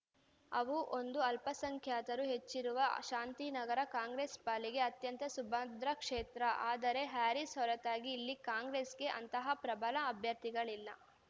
ಅವು ಒಂದು ಅಲ್ಪಸಂಖ್ಯಾತರು ಹೆಚ್ಚಿರುವ ಶಾಂತಿನಗರ ಕಾಂಗ್ರೆಸ್‌ ಪಾಲಿಗೆ ಅತ್ಯಂತ ಸುಭದ್ರ ಕ್ಷೇತ್ರ ಆದರೆ ಹ್ಯಾರೀಸ್‌ ಹೊರತಾಗಿ ಇಲ್ಲಿ ಕಾಂಗ್ರೆಸ್‌ಗೆ ಅಂತಹ ಪ್ರಬಲ ಅಭ್ಯರ್ಥಿಗಳಿಲ್ಲ